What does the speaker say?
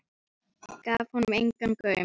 Gaf honum engan gaum.